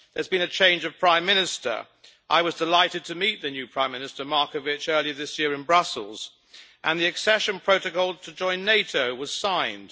There has been a change of prime minister I was delighted to meet the new prime minister Marković earlier this year in Brussels and the accession protocol to join NATO was signed.